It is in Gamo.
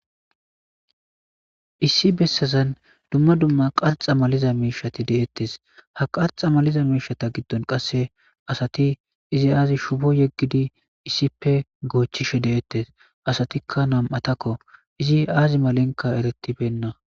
Issi bessazan dumma dumma qaxa maliza miishati deettes ha qaxa maliza miishata giddon qasse asati izi aazi shubo yeggidi issippe goochchishe de'ettes asatikka nam'atakko izi aazi malenka eretibenna.